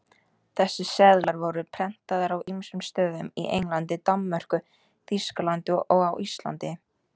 Þessir seðlar voru prentaðir á ýmsum stöðum, í Englandi, Danmörku, Þýskalandi og á Íslandi.